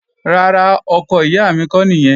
Rárá, ọkọ ìyá mi kọ́ nìyẹn